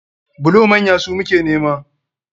Bulo manya su muke nema.